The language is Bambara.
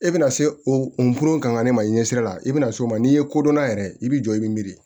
E bɛna se o pororon kan ka ne ma i ɲɛsira la i bɛna se o ma n'i ye kodɔnna yɛrɛ i bɛ jɔ i bɛ miiri